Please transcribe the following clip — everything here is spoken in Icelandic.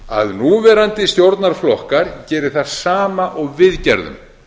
að núverandi stjórnarflokkar geri það sama og við gerðum